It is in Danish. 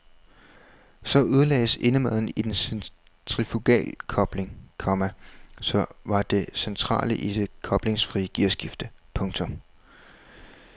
Så ødelagdes indmaden i den centrifugalkobling, komma som var det centrale i det koblingsfrie gearskifte. punktum